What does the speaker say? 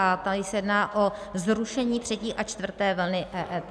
A tady se jedná o zrušení třetí a čtvrté vlny EET.